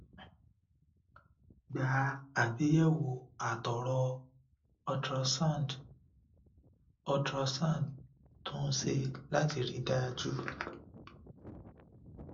gba àgbéyèwò àtọrọ ultrasound ultrasound tún ṣe láti rí i dájú